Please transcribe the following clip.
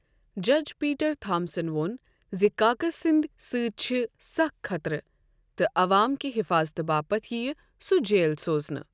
جج Peter Thomson وو٘ن زِ كاكس سندۍ سۭتۍ چھ سخ خطرٕ تہٕ عوام كہِ حفاضتہٕ باپت یی سو جیل سوزنہٕ۔